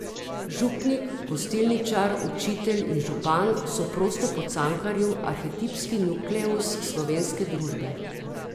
Župnik, gostilničar, učitelj in župan so prosto po Cankarju arhetipski nukleus slovenske družbe.